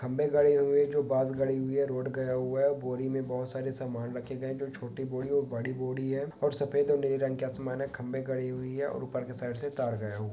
खंभे गड़े हुए है जो बांस गड़ी हुई है रोड गया हुआ है बोरी में बहोत सारे समान रखे गए हैं जो छोटी बोरी और बड़ी बोरी है और सफेद और नीले रंग के आसमान है खंभे गड़ी हुई है और ऊपर की साइड से तार गया हु --